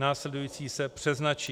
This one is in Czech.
Následující se přeznačí.